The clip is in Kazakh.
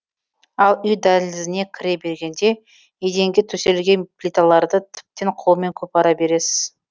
ал үй дәлізіне кіре бергенде еденге төселген плиталарды тіптен қолмен қопара бересіз